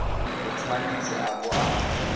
o tshwanetse a bo a